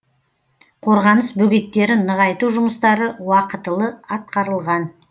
қорғаныс бөгеттерін нығайту жұмыстары уақытылы атқарылған